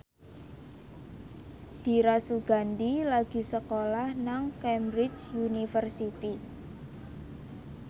Dira Sugandi lagi sekolah nang Cambridge University